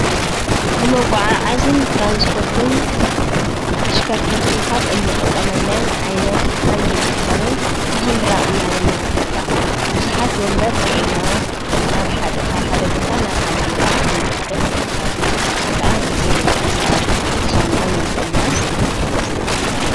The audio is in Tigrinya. ንመጓዓዓዝን ትራንስፖርትን ተሽከርከርቲ ካብ እንጥቀመለን ዓይነት ሓንቲ እንትኸዉን ማህንድራ እናበልና ንፈልጣ። ብዙሓት ወንበር ፅዒና ካብ ሓደ ቦታ ናብ ሓደ ቦታ እናከደት ትርከብ። እዙይ ከዓ ግዜ ንምቁጣብ ፤ድካምና ንምቅናስ ይሕግዘና።